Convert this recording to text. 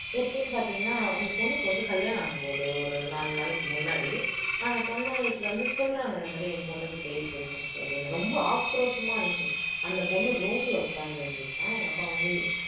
எப்படின்னு பாத்தீங்கன்னா அந்த பொண்ணுக்கு வந்து கல்யாணாம் ஆக போகுது ஒரு நாலு நாளைக்கு முன்னாடி அந்த பொண்ணு வீட்டுல வந்து சொல்றாங்க இந்த மாதிரி என் பொண்ணுக்கு பேயி புடிச்சுருசு அப்படின்னு ரொம்ப ஆக்ரோஷமா இருந்துச்சு அந்த பொண்ணு room ல உக்காந்து இருந்துச்சாம் எங்க அப்பா வந்து